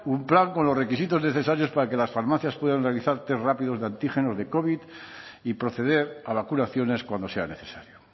un plan con los requisitos necesarios para que las farmacias puedan realizar test rápidos de antígenos de covid y proceder a vacunaciones cuando sea necesario